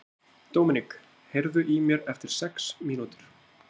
Dominik, heyrðu í mér eftir sex mínútur.